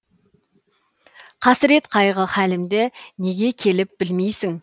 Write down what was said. қасірет қайғы халімді неге келіп білмейсің